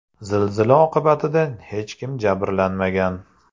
Zilzila oqibatida hech kim jabrlanmagan.